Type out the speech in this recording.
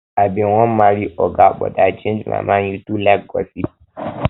i bin wan i bin wan marry oga but i change my mind you too like gossip